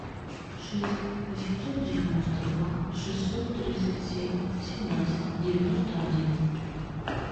шесть восемьсот девяносто два шестьсот тридцать семь семнадцать девяносто один